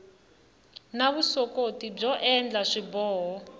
na vuswikoti byo endla swiboho